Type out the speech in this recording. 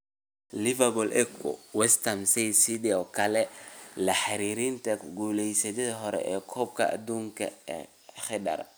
(Liverpool Echo) West Ham ayaa sidoo kale lala xiriirinayaa ku guuleystihii hore ee Koobka Adduunka Khedira.